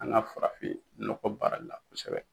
An ka farafin nɔgɔ baara la kosɛbɛ.